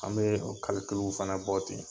An be o kalikilu fɛnɛ bɔ ten